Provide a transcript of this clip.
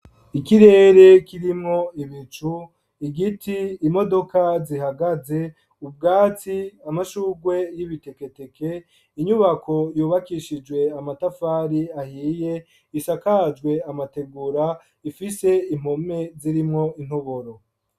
Ikirere kirimwo ibicu, igiti; imodoka zihagaze, ubwatsi, amashugwe y'ibiteketeke, inyubako yubakishijwe amatafari ahiye isakajwe amategura ifise impome zirimwo intoboro.